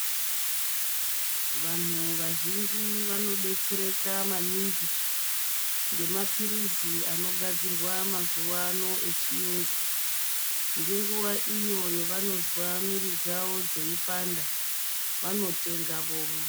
Vanhu vazhinji vanodetsereka maningi, ngemaphirizi anogadzirwa mazuwano echiyungu ngenguwa iyo yavanozwa mwiri dzavo dzeipanda, vanotenga vomwa.